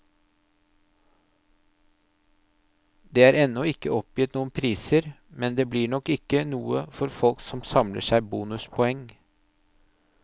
Det er ennå ikke oppgitt noen priser, men det blir nok ikke noe for folk som samler seg bonuspoeng.